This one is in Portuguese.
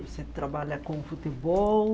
Você trabalha com futebol?